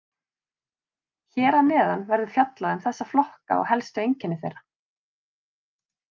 Hér að neðan verður fjallað um þessa flokka og helstu einkenni þeirra.